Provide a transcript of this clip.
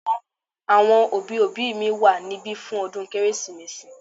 Àwọn òbí òbí mi wà níbí fún ọdún kérésìmesì